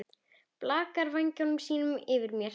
Blakar vængjum sínum yfir mér.